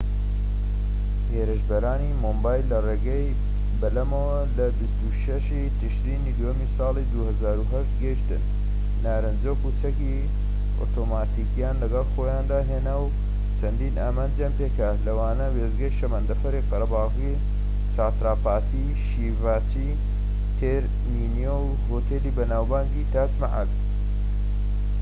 هێرشبەرانی مۆمبای لە ڕێگەی بەلەمەوە لە 26ی تشرینی دووەمی ساڵی 2008 گەیشتن، نارنجۆک و چەکی ئۆتۆماتیکیان لەگەڵ خۆیان هێنا و چەندین ئامانجیان پێکا لەوانە وێستگەی شەمەندەفەری قەرەبالغی چاتراپاتی شیڤاجی تێرمینۆو هۆتێلی بەناوبانگی تاج مەحەل‎